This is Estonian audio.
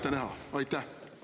… te ei oska ette näha?